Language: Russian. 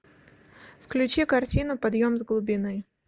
включи картину подъем с глубины